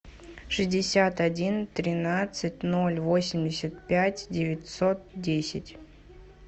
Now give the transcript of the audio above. шестьдесят один тринадцать ноль восемьдесят пять девятьсот десять